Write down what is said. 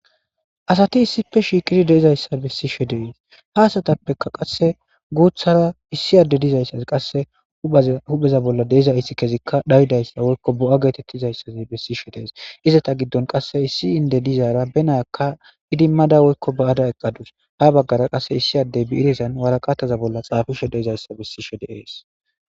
asati issipe shiiqiri deizayssa bessishe deees haasatappeka qasse guuthara issi adde dizayssazi qasse hupheza bolla deizayssi kezikka dhaydayssa woykko bo7a geetettizayssazi bessishe dees izata giddon qasse issi inde dizaara benaakka idimmada woykko ba7ada eqqadus ha baggara qasse issi addey biirisan waraqataza bolla xaafisho deizayssa bissi she deees